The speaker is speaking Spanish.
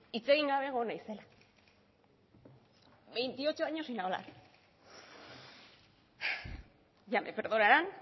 hitz egin gabe egon naizela veintiocho años sin hablar ya me perdonarán